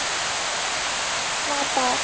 BILLA DAL